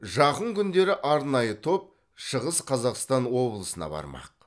жақын күндері арнайы топ шығыс қазақстан облысына бармақ